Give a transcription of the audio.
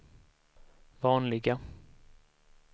vanliga